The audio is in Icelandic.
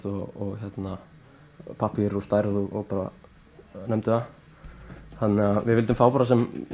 og pappír og stærð og nefndu það við vildum fá bara